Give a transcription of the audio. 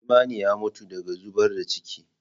Imani ya mutu daga zubar da ciki.